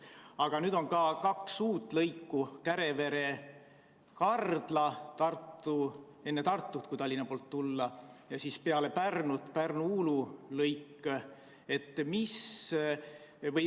Aga on ka kaks uut lõiku: Kärevere–Kardla enne Tartut, kui Tallinna poolt tulla, ja siis peale Pärnut Pärnu–Uulu lõik.